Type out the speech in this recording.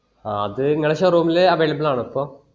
ആ അത് നിങ്ങളെ showroom ൽ available ആണൊ ഇപ്പൊ